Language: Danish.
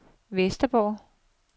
Vesterborg